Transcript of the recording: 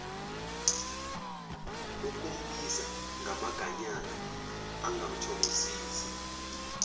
ukumbiza ngamaganyana angathokozisi